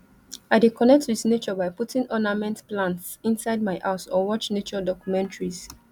i dey connect with nature by putting ornamental plants inside my house or watch nature documentaries